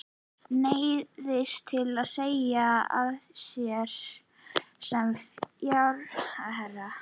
Neyðist til að segja af sér sem fjármálaráðherra.